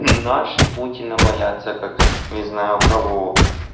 наши путина боятся как не знаю кого